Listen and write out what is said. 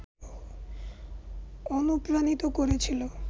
অনুপ্রাণিত করেছিল